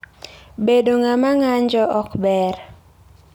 Bedo ng'ama ng'anjo ok ber.